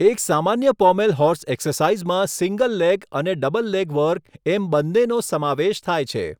એક સામાન્ય pommel horse એક્સરસાઇઝમાં સિંગલ લેગ અને ડબલ લેગ વર્ક એમ બન્નેનો સમાવેશ થાય છે.